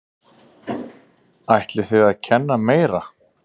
Ætlið þið að kenna meira?